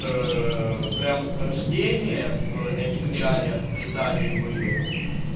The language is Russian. прямо с рождения в этих реалиях в британии были